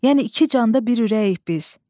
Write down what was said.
Yəni iki canda bir ürəyik biz.